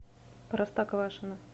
простоквашино